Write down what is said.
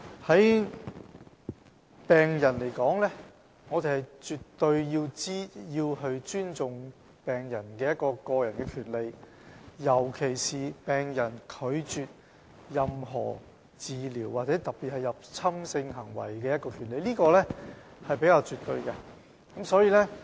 就病人來說，我們絕對尊重病人的個人權利，尤其是病人拒絕接受治療的權利，特別是"入侵性的治療"，這點是比較絕對的。